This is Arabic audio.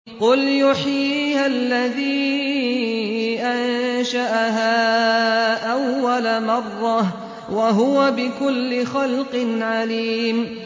قُلْ يُحْيِيهَا الَّذِي أَنشَأَهَا أَوَّلَ مَرَّةٍ ۖ وَهُوَ بِكُلِّ خَلْقٍ عَلِيمٌ